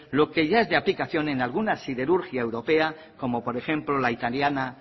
lo que ya es de aplicación en alguna siderurgia europea como por ejemplo la italiana